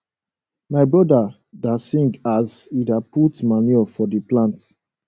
my brother da sing aas he da put manure for the plant